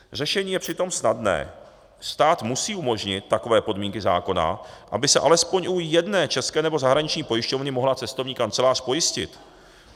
Řešení je přitom snadné: stát musí umožnit takové podmínky zákona, aby se alespoň u jedné české nebo zahraniční pojišťovny mohla cestovní kancelář pojistit.